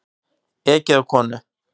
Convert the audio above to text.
Ekið á konu